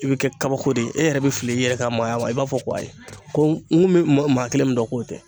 I bɛ kɛ kabako de ye e yɛrɛ bɛ fili i yɛrɛ ka maaya ma , i b'a fɔ ko ayi ko n ko bɛ mɔgɔ kelen min dɔn k'o tɛ.